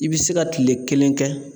I bi se ka kile kelen kɛ